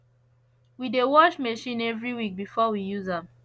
we dey wash machine every week before we use am